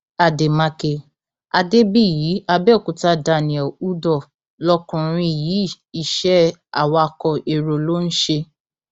àdèmàkè adébíyì àbẹòkúta daniel udoh lọkùnrin yìí iṣẹ awakọ èrò ló ń ṣe